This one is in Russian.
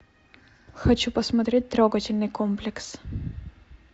хочу посмотреть трогательный комплекс